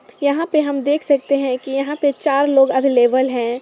यहां पर हम देख सकते हैं कि यहां चार लोग आबेलेबल हैं